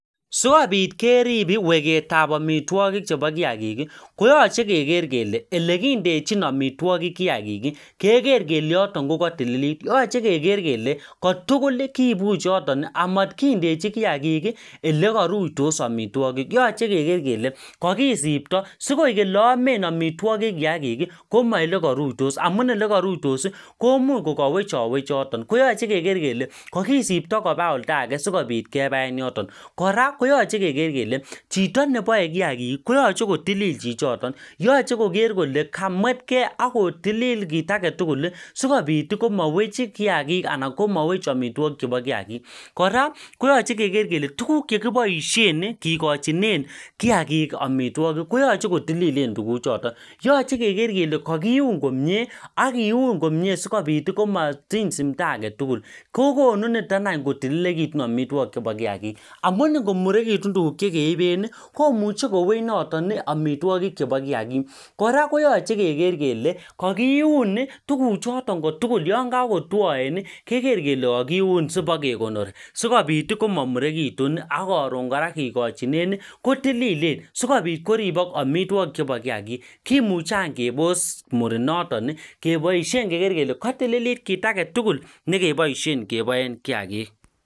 sikopit kerib weketab amitwokik chebo kiakik koyoche keker kele ele kindechin amitwokik kiagik keker kele yoton kokotililit yoche keker kele kotuguli kibuch yotoni amot kindechi kiagik eleruitos amitwokik yoche keker kele kokisibto sieleomen amitwokiki koelemoruitos amun ole koruitosi komuch kokowechowech yoton koyoche keker kele kokisibto kopa olda age asikopit kibaen yoton kora koyche keker kele chito neboe kiagik koyche kotililil chichoton yoche koker kole kamwetkee ako tilil kitetugul sikopit komowech kiagik anan komowech amitwokik chepo kiagik kora koyoche keker kele tuguk chekiboishen kigochinen kiagik amitwokiki koyoche kotililen tuguchoton yoche keker kele kokiun komie ak kiun komie sikopitkomotiny simto aketugul kogonu nitokany kotililekitun amitwokichoton bo kiagik amun ngomurekitun tuguk chekeibeni komuche kowech noton amitwokik chepo kiagik kora koyoche keker kele kokiun tuguchoton kotugul yonkokotwoeni keker kele kokiun sipokekonori sikopit komomurekitun akoron kora kipo kikochineni kotililen sikopit koribok amitwokik chepo kiagik kimuche any kebos murinotoni keboishen keker kele kotililit kiagetugul nekeboishen keboen kiagik